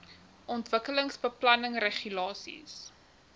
ontwikkelingsbeplanningregulasies